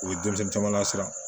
U ye denmisɛnnin caman siran